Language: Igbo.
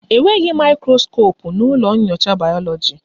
Enweghị mikroskopu na ụlọ nyocha bayoloji